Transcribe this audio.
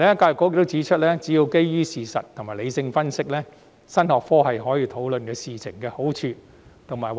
教育局還指出，只要是基於事實和理性分析，新學科亦可討論事情的好壞。